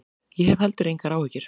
Ég hef heldur engar áhyggjur.